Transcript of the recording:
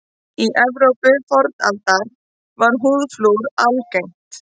Í Evrópu fornaldar var húðflúr algengt.